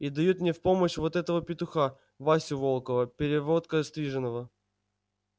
и дают мне в помощь вот этого петуха васю волкова первогодка стриженого